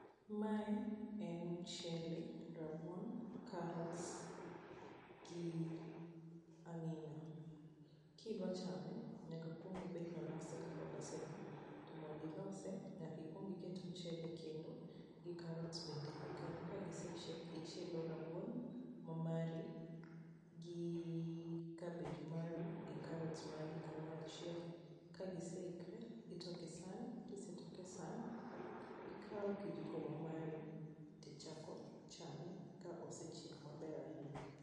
Mae en mchele, rabuon, carrots gi ang'ina. Kidwa chame, nyaka okuong obed ni olose kaka oloseni, to mondo ilose nyaka ikuong iket mchele e kendo gi carrots bende e ie kanyo. Kagisechiek, ichielo rabuon mamari gi cabbage mari gi carrots magi kamoro achiel. Ka giseikre, itoke san, kisetoke e san, ikao kijiko ma mari, tichako chame ka osechiek maber ahinya.